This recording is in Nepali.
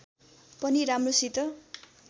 पनि राम्रोसित